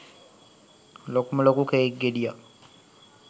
ලොකුම ලොකු කේක් ගෙඩියක්.